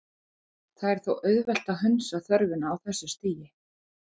Það er þó auðvelt að hunsa þörfina á þessu stigi.